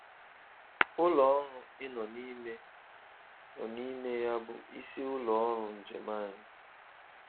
Ụlọ ọrụ ị nọ n'ime nọ n'ime ya bụ isi ụlọ ọrụ njem anyị.